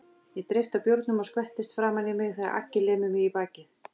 Ég dreypi á bjórnum og skvettist framan á mig þegar Aggi lemur mig í bakið.